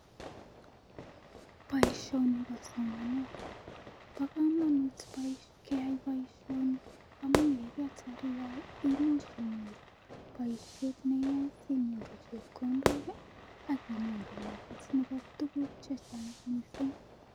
Poishoni ko somanet. Pa kamanut keyai poishoni amu ye ketar iyae ko much inyoru poishet ne iyae asinyoru chepkondok ak inyoru naet nepa tuguuk che chang' missing'.